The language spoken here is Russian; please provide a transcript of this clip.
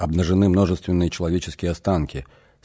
обнажены множественные человеческие останки